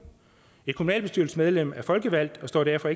et kommunalbestyrelsesmedlem er folkevalgt og står derfor